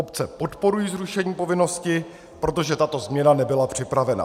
Obce podporují zrušení povinnosti, protože tato změna nebyla připravena.